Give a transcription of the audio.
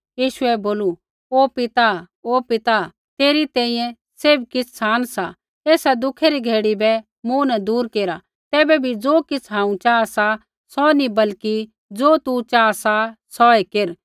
यीशुऐ बोलू ओ पिता ओ पिता तेरी तैंईंयैं सैभ किछ़ सान सा एसा दुखै री घड़ी बै मूँ न दूर केर तैबै भी ज़ो किछ़ हांऊँ चाहा सा सौ नी बल्कि ज़ो तू चाहा सा सौऐ केर